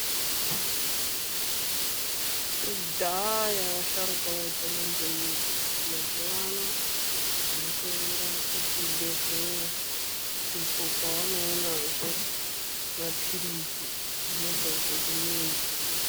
KUDHAYA you ASHARUKWA AIPONA NEMIDZI , MAZUWANO TAAKUENDA KUZVIBEHLERA UKO KWAANOONAZVE MAPIRISI .ANOBVA ZVE KUMIDZI .